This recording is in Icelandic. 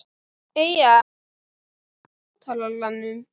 Eyja, hækkaðu í hátalaranum.